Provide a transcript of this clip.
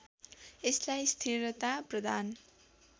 यसलाई स्थिरता प्रदान